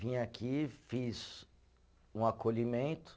Vim aqui, fiz um acolhimento.